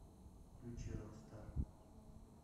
включи рокстар